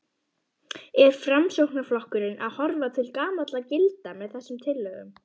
Er Framsóknarflokkurinn að horfa til gamalla gilda með þessum tillögum?